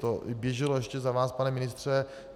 To běželo ještě za vás, pane ministře.